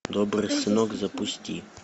добрый сынок запусти